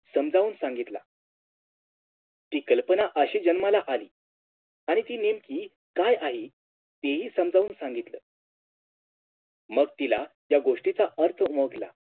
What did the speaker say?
समजाऊन सांगितला ती कल्पना अशी जन्माला आली आणि ती नेमकी काय आहे ते हि समजावून सांगितलं मग तिला त्या गोष्टीचा अर्थ उमगला